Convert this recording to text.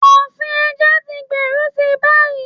Ọ̀sìn ẹja tí ń gbèrú si báyìí.